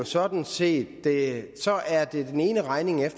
sådan set at det